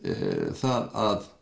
það að